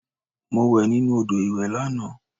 Mo wẹ̀ nínú odò ìwẹ̀ lànà